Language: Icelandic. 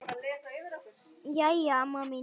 Jæja amma mín.